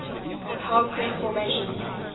hell creek formation